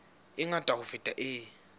e ngata ho feta e